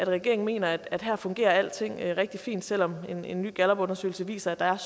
regeringen mener at her fungerer alting rigtig fint selv om en en ny gallupundersøgelse viser at der er